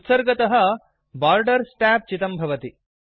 उत्सर्गतःडिफाल्ट् तः borders tab चितं भवति